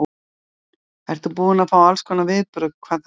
Ert þú ekki búin að fá allskonar viðbrögð hvað það varðar?